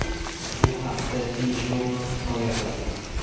Bu haqda TJournal hikoya qiladi.